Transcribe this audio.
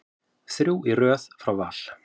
Þrjú í röð frá Val.